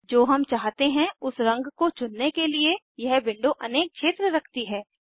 जो हम चाहते हैं उस रंग को चुनने के लिए यह विंडो अनेक क्षेत्र रखती है